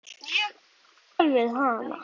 Ég kann vel við hana.